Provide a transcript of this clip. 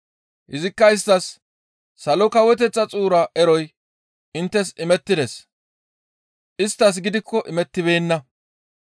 Izikka isttas, «Salo Kawoteththa xuura eroy inttes imettides; isttas gidikko imettibeenna.